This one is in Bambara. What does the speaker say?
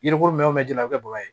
Yirikolon bɛ jenna o bɛ bɔgɔ ye